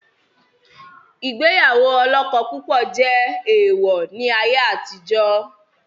Ìgbéyàwó olọ́kọ púpọ̀ jẹ́ èèwọ̀ ni ayé àtijọ́